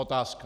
Otázka.